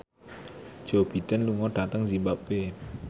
Joe Biden lunga dhateng zimbabwe